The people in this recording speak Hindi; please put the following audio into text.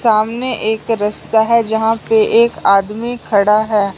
सामने एक रस्ता है जहां पे एक आदमी खड़ा है।